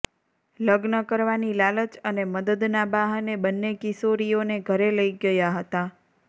લગ્ન કરવાની લાલચ અને મદદના બહાને બંને કિશોરીઓને ઘરે લઈ ગયા હતા